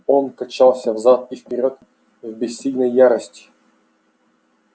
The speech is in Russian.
он качался взад и вперёд в бессильной ярости